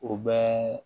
O bɛɛ